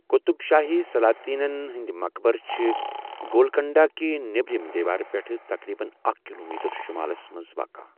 قطب شٲہی سلاطینن ہٕنٛدِ مقبرٕ چھِ گولکنڈہ کہِ نیٔبرِمہِ دیوارٕ پٮ۪ٹھٕ تقریباً اکھ کلومیٹر شُمالس منٛز واقع۔